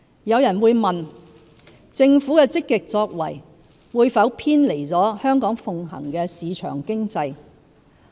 有人會問，政府的積極作為，會否偏離香港奉行的市場經濟。